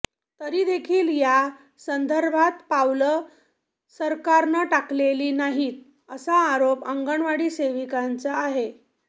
तरी देखील या संदर्भात पावलं सरकारनं टाकलेली नाहीत असा आरोप अंगणवाडी सेविकांचा आहे